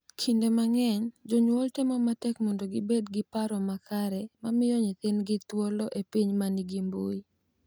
Kinde mang’eny jonyuol temo matek mondo gibed gi paro makare mar miyo nyithindgi thuolo e piny ma nigi mbui .